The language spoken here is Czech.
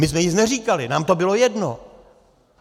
My jsme nic neříkali, nám to bylo jedno.